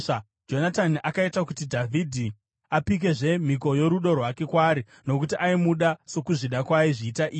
Jonatani akaita kuti Dhavhidhi apikezve mhiko yorudo rwake kwaari, nokuti aimuda sokuzvida kwaaizviita iye.